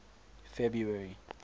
february